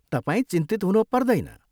तपाईँ चिन्तित हुन पर्दैन।